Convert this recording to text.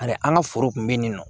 Ani an ka foro kun be yen nɔ